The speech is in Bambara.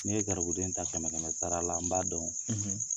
Ne ye garibuden ta kɛmɛ kɛmɛ sara la an b'a dɔn,